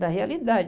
Da realidade.